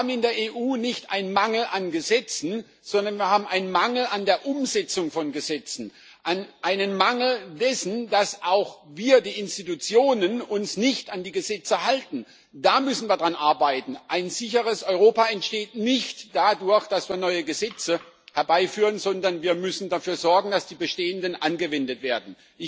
Wir haben in der EU nicht ein Mangel an Gesetzen, sondern wir haben einen Mangel an der Umsetzung von Gesetzen, einen Mangel dessen, dass auch wir, die Institutionen, uns nicht an die Gesetze halten da müssen wir dran arbeiten. Ein sicheres Europa entsteht nicht dadurch, dass wir neue Gesetze herbeiführen, sondern wir müssen dafür sorgen, dass die bestehenden angewendet werden.